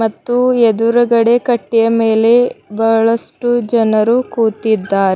ಮತ್ತು ಎದುರಗಡೆ ಕಟ್ಟೆಯ ಮೇಲೆ ಬಹಳಷ್ಟು ಜನರು ಕೂತಿದ್ದಾರೆ.